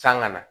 San ka na